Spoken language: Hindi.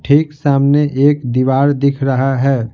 ठीक सामने एक दीवार दिख रहा है।